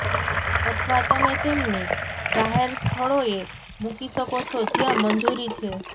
અથવા તમે તેમને જાહેર સ્થળોએ મૂકી શકો છો જ્યાં મંજૂરી છે